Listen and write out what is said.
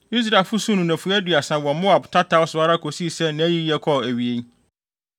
Israelfo suu no nnafua aduasa wɔ Moab tataw so ara kosii sɛ nʼayiyɛ kɔɔ awiei.